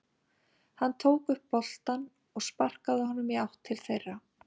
Hann tók upp boltann og sparkaði honum í átt til þeirra.